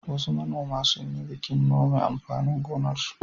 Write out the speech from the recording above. Wasu manoma sun yi bikin nome amfanin gonarsu.